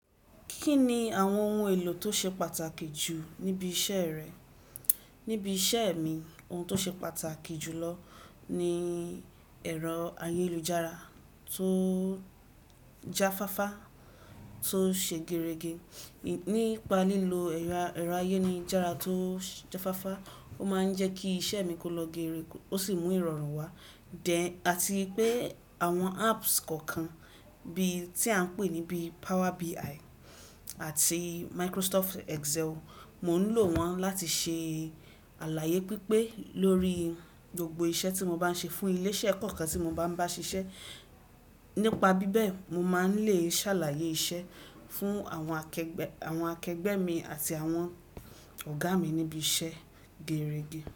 Kí ni àwọn ohun èlò tó ṣe pàtàkì jù níbi iṣẹ́ rẹ? Níbi iṣẹ́ mi, ohun tó ṣe pàtàkì jù lọ ni ẹ̀rọ ayélujára tó jáfáfá tó ṣe gerege. Nípa lílo ẹ̀rọ ayélujára tó jáfáfá, ó máa ń jẹ́ kí iṣẹ́ mi kó lọ geere, ó sì mú ìrọ̀rùn wá then, àti pé àwọn apps kọ̀ọ̀kan bí tí à ń pè níbí Power BI àti Microsoft Excel, mo ń lò wọ́n láti ṣe àlàyé pípé lórí gbogbo iṣẹ́ tí mo bá ń ṣe fún ilé-iṣẹ́ kọ̀ọ̀kan tí mo bá ń bá ṣiṣẹ́. Nípa bíbẹ̀, mo máa ń lè ṣàlàyé iṣẹ́ fún àwọn akẹgbẹ́ mi àti àwọn ọ̀gá mi níbi iṣẹ́ gerege.